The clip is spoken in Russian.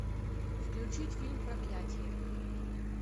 включить фильм проклятье